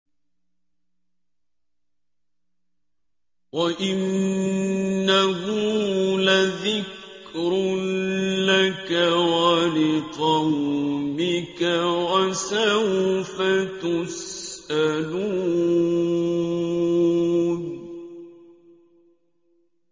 وَإِنَّهُ لَذِكْرٌ لَّكَ وَلِقَوْمِكَ ۖ وَسَوْفَ تُسْأَلُونَ